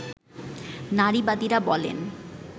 নারীবাদীরা বলেন